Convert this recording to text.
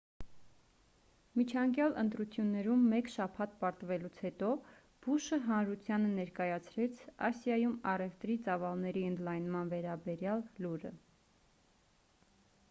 միջանկյալ ընտրություններում մեկ շաբաթ պարտվելուց հետո բուշը հանրութանը ներկայացրեց ասիայում առևտրի ծավալների ընդլայնման վերաբերյալ լուրը